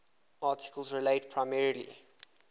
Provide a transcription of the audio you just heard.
article relates primarily